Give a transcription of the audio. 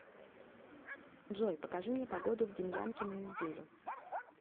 джой покажи мне погоду в демьянке на неделю